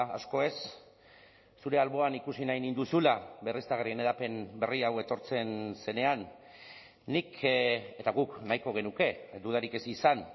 asko ez zure alboan ikusi nahi ninduzula berriztagarrien hedapen berria hau etortzen zenean nik eta guk nahiko genuke dudarik ez izan